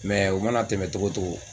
Mɛ o mana tɛmɛ togo togo